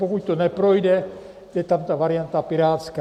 Pokud to neprojde, je tam ta varianta pirátská.